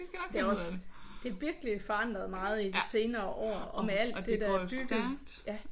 Det er også det er virkelig forandret meget i de senere år og med alt det der er bygget